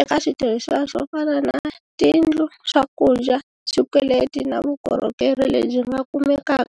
eka switirhisiwa swo fana na tiyindlu, swakudya, swikweleti na vukorhokeri lebyi nga kumekaka.